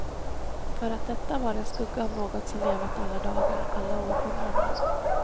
För att detta var en skugga av något som levat alla dagar, alla århundraden.